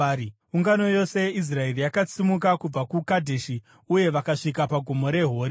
Ungano yose yeIsraeri yakasimuka kubva kuKadheshi uye vakasvika paGomo reHori.